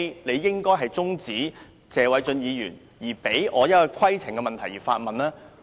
你應該先停止謝偉俊議員的發言，讓我提出規程問題。